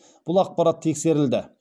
бұл ақпарат тексерілді